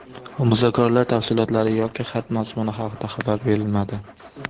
Muzokaralar tafsilotlari yoki xat mazmuni haqida xabar berilmadi.